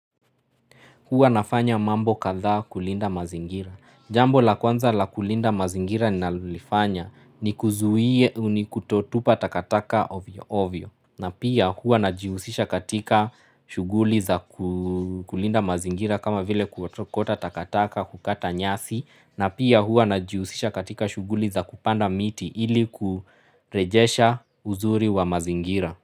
Hua nafanya mambo katha kulinda mazingira. Jambo la kwanza la kulinda mazingira ni nalulifanya ni kuzuhie ni kutotupa takataka ovio ovio. Na pia hua najiusisha katika shuguli za kulinda mazingira kama vile kuotokota takataka kukata nyasi. Na pia hua najiusisha katika shuguli za kupanda miti ili kurejesha uzuri wa mazingira.